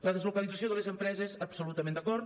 la deslocalització de les empreses absolutament d’acord